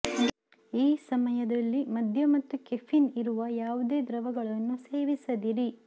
ಈ ಸಮಯದಲ್ಲಿ ಮದ್ಯ ಮತ್ತು ಕೆಫೀನ್ ಇರುವ ಯಾವುದೇ ದ್ರವಗಳನ್ನು ಸೇವಿಸದಿರಿ